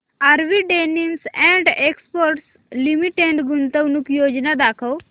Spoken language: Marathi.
RV denims and exports limited गुंतवणूक योजना दाखव